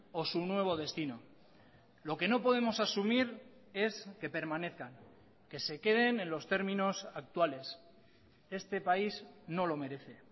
o su nuevo destino lo que no podemos asumir es que permanezcan que se queden en los términos actuales este país no lo merece